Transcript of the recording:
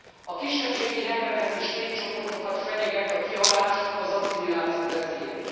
a kisebbségi nyelveket és népcsoportokat fenyegeti a kihalás, az asszimiláció veszélye.